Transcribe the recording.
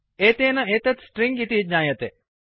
एतेन एतत् स्ट्रिंग् इति ज्ञायते